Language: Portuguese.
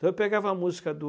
eu pegava a música do...